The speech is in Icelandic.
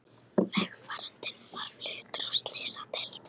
Vegfarandinn var fluttur á slysadeild